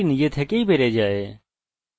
এখানে firstname আছে